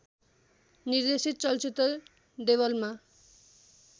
निर्देशित चलचित्र देवलमा